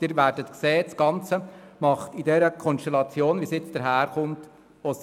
Sie werden sehen, dass das Ganze in der vorliegenden Konstellation sinnvoll ist.